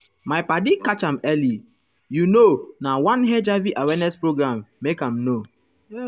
my padi catch am early you you know na one hiv awareness program make am know.